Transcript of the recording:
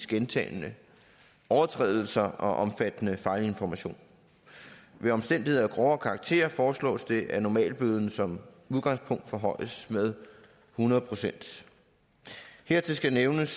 gentagne overtrædelser og omfattende fejlinformation ved omstændigheder af grovere karakter foreslås det at normalbøden som udgangspunkt forhøjes med hundrede procent hertil skal det nævnes